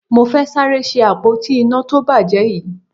Mo fẹ́ sáré ṣe àpótí iná tó bàjẹ́ yìí